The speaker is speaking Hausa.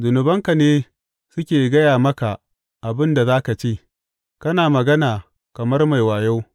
Zunubanka ne suke gaya maka abin da za ka ce; kana magana kamar mai wayo.